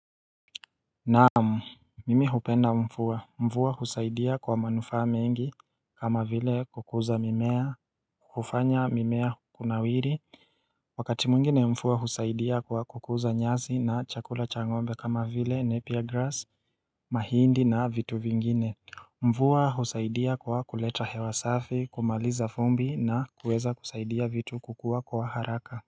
Naamu mimi hupenda mvua mvua husaidia kwa manufaa mengi kama vile kukuza mimea kufanya mimea kuna wiri Wakati mwingine mfua husaidia kwa kukuza nyazi na chakula cha ngombe kama vile nepiar grass mahindi na vitu vingine mvua husaidia kwa kuleta hewa safi kumaliza fumbi na kuweza kusaidia vitu kukua kwa haraka.